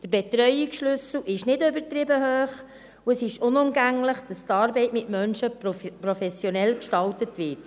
Der Betreuungsschlüssel ist nicht übertrieben hoch, und es ist unumgänglich, dass die Arbeit mit Menschen professionell gestaltet wird.